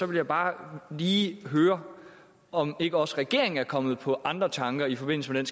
vil jeg bare lige høre om ikke også regeringen er kommet på andre tanker i forbindelse med